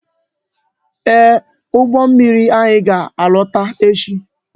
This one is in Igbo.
Ee, ụgbọ mmiri anyị ga-alọta echi